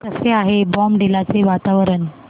कसे आहे बॉमडिला चे वातावरण